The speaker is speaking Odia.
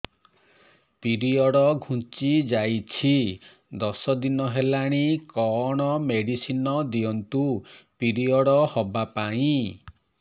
ପିରିଅଡ଼ ଘୁଞ୍ଚି ଯାଇଛି ଦଶ ଦିନ ହେଲାଣି କଅଣ ମେଡିସିନ ଦିଅନ୍ତୁ ପିରିଅଡ଼ ହଵା ପାଈଁ